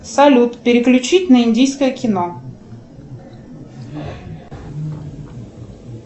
салют переключить на индийское кино